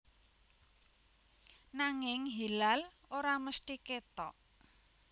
Nanging hilal ora mesthi kétok